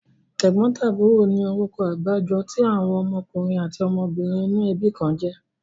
Tẹ̀gbọ́ntàbúrò ni orúkọ àgbájọ tí àwọn ọmọkùnrin àti ọmọbìnrin inú ẹbí kan jẹ́.